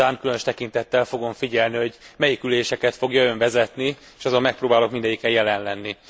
Ezek után különös tekintettel fogom figyelni, hogy melyik üléseket fogja Ön vezetni, és azon megpróbálok mindegyiken jelen lenni.